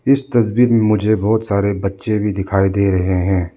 इस तस्वीर में मुझे बहोत सारे बच्चे भी दिखाई दे रहे हैं।